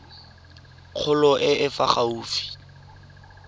kgolo e e fa gaufi